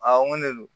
Aa n ko ne don